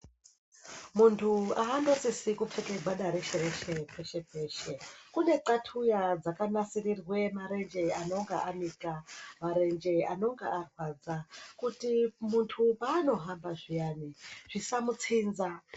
Muntu hanosisi kupfeka gwada reshe-reshe peshe-peshe. Kune txatxuya dzakanasirirwe marenje anonga anika, marenje anonga arwadza kuti muntu paanohamba zviyani zvisamitsinza.